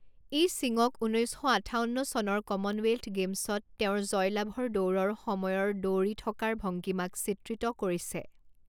ই সিঙক ঊনৈছ শ আঠাৱন্ন চনৰ কমনৱেল্থ গেম্ছত তেওঁৰ জয়লাভৰ দৌৰৰ সময়ৰ দৌৰি থকাৰ ভংগিমাক চিত্ৰিত কৰিছে।